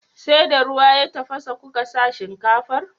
Sai da ruwa ya tafasa kuka sa shinkafar?